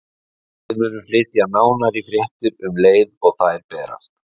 Við munum flytja nánari fréttir um leið og þær berast.